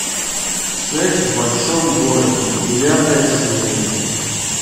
секс в большом городе девятая серия